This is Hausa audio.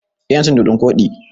Eh yana cin dodon koɗi.